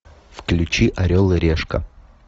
включи орел и решка